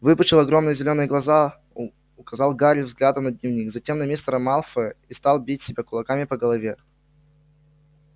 выпучил огромные зелёные глаза указал гарри взглядом на дневник затем на мистера малфоя и стал бить себя кулаками по голове